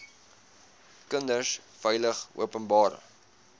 kinders veilig openbare